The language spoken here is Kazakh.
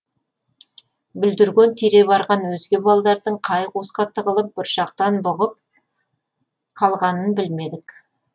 бүлдірген тере барған өзге балалардың қай қуысқа тығылып бұршақтан бұғып қалғанын білмедік